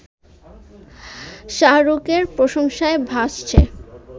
শাহরুখের প্রশংসায় ভাসছে